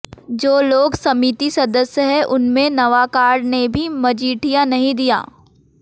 जो लोग समिती सदस्य हैं उनमे नवाकाळ ने भी मजिठिया नही दिया